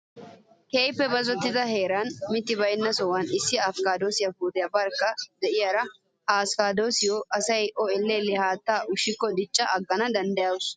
Keehippe bazzottida hara mitti bayinna sohan issi askkaadosiyaa puutiyaa barkka diyaaro. Ha askkaadosiyaa asayi O elle elle haattaa ushikko dicca aggana dawusu.